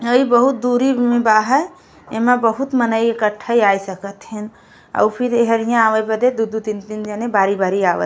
हइ बहुत दुरी में बा है एमे बहुत मनइ इक्ठा आ सकत है और फिर एहरिया अवाद बेद दू दू तीन तीन जने बारी बारी आव --